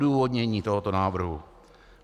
Odůvodnění tohoto návrhu.